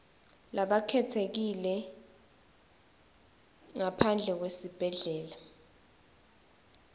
labakhetsekile ngaphandle kwesibhedlela